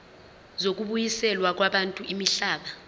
zokubuyiselwa kwabantu imihlaba